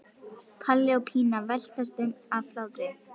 Palli og Pína veltast um af hlátri.